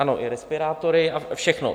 Ano, i respirátory a všechno.